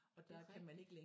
Det rigtigt